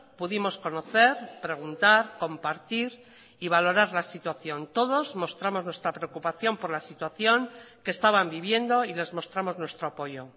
pudimos conocer preguntar compartir y valorar la situación todos mostramos nuestra preocupación por la situación que estaban viviendo y les mostramos nuestro apoyo